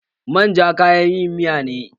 Man ja kayan yin miya ne.